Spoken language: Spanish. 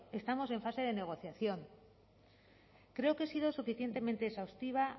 estamos en fase de negociación creo que he sido suficientemente exhaustiva